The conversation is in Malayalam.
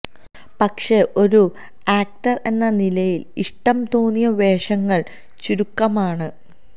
പക്ഷേ ഒരു ആക്റ്റര് എന്ന നിലയില് ഇഷ്ടം തോന്നിയ വേഷങ്ങള് ചുരുക്കമാണ്